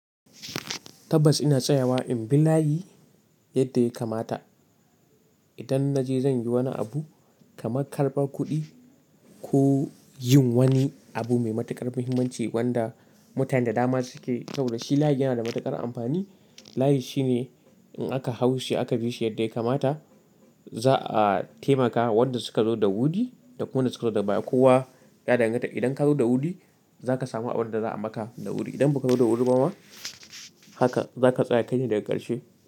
Tabbas ina tsayawa in bi layi yadda ya kamata. Idan na je zan yi wani abu kamar karɓar kuɗi ko, yin wani abu mai matuƙar muhimmanci wanda mutane da dama suke kyau da shi, layi yana da matuƙar amfani. Layi shine, in aka hau shi aka bi shi yadda ya kamata, za'a taimaka wa wanda suka zo da wuri da kuma wanda suka zo da baya. Kowa ya danganta. Idan ka zo da wuri, za ka samu abin da za a maka da wuri. Idan ba ka zo da wuri ba ma, haka za ka tsaya kai ne daga ƙarshe.